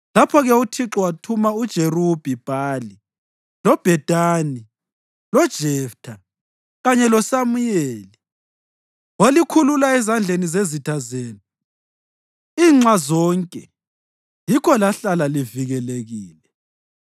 Lapho-ke uThixo wathuma uJerubhi-Bhali, loBhedani, loJeftha kanye loSamuyeli, walikhulula ezandleni zezitha zenu inxa zonke, yikho lahlala livikelekile.